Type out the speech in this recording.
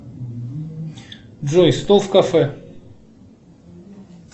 джой стол в кафе